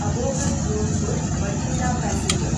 Abohar Jodhpur Bathinda passenger